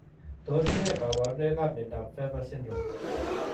Tos ne kaborunoikap miondop PHAVER syndrome